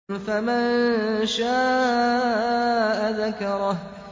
فَمَن شَاءَ ذَكَرَهُ